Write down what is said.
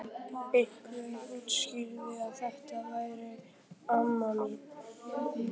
Einhver útskýrði að þetta væri amma mín.